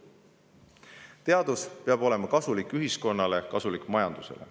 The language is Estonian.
Teadus peab olema kasulik ühiskonnale ja kasulik majandusele.